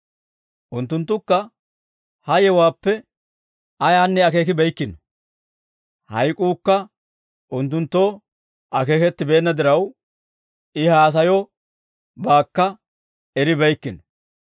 Unttunttukka ha yewuwaappe ayaanne akeekibeykkino; hayk'uukka unttunttoo akeekettibeenna diraw I haasayobaakka eribeykkino.